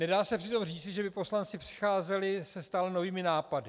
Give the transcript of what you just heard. Nedá se přitom říci, že by poslanci přicházeli se stále novými nápady.